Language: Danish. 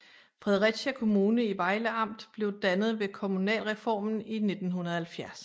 Fredericia Kommune i Vejle Amt blev dannet ved kommunalreformen i 1970